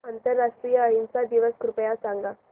आंतरराष्ट्रीय अहिंसा दिवस कृपया सांगा